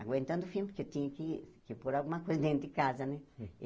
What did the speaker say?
Aguentando o fim, porque tinha que que pôr alguma coisa dentro de casa, né?